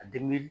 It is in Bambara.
A